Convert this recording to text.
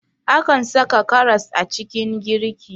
Akan saka karas a cikin girki